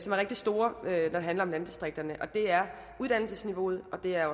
rigtig store når det handler om landdistrikterne det er uddannelsesniveauet og det er